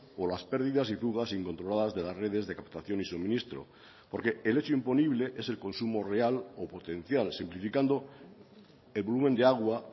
o las pérdidas y fugas incontroladas de las redes de captación y suministro porque el hecho imponible es el consumo real o potencial simplificando el volumen de agua